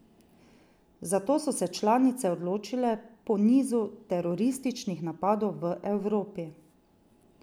Za to so se članice odločile po nizu terorističnih napadov v Evropi.